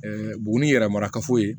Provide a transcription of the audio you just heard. buguni yɛrɛ marakafo ye